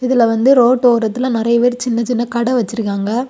இதுல வந்து ரோட் ஓரத்தில நெறய பேர் சின்ன சின்ன கட வெச்சிருக்காங்க.